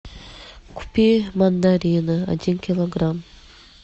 купи мандарины один килограмм